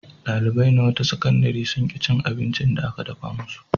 Ɗalibai na wata sakandare sun ƙi cin abincin da aka dafa musu.